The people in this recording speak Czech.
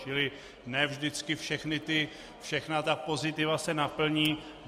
Čili ne vždycky všechna ta pozitiva se naplní.